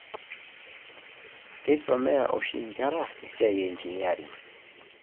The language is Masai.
Keisomea oshi inkera esiai e engineering.